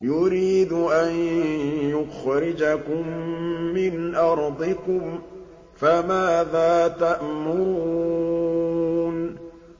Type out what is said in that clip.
يُرِيدُ أَن يُخْرِجَكُم مِّنْ أَرْضِكُمْ ۖ فَمَاذَا تَأْمُرُونَ